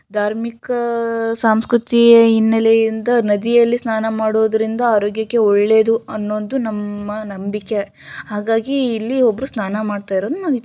ಧಾರ್ಮಿಕ ಸಾಂಸ್ಕೃತಿಯ ಹಿನ್ನೆಲೆಯಿಂದ ನದಿಯಲ್ಲಿ ಸ್ನಾನ ಮಾಡುವುದರಿಂದ ಆರೋಗ್ಯಕ್ಕೆ ಒಳ್ಳೆಯದು ಅನ್ನೋದು ನಮ್ಮ ನಂಬಿಕೆ ಹಾಗಾಗಿ ಇಲ್ಲಿ ಒಬ್ಬರು ಸ್ನಾನ ಮಾಡ್ತಾ ಇರೋದು